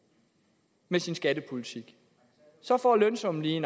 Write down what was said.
med sin skattepolitik så får lønsummen lige